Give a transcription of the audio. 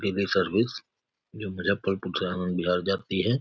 Service जो मुजफ्फरपुर से आनन्द विहार जाती है।